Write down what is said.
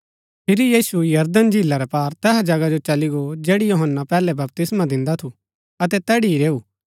फिरी यीशु यरदन झीला रै पार तैसा जगहा जो चली गो जैड़ी यूहन्‍ना पैहलै बपतिस्मा दिन्दा थू अतै तैड़ी ही रैऊ